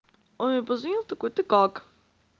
он мне позвонил такой ты как